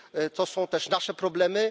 To są też nasze problemy.